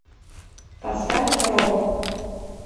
поставь робо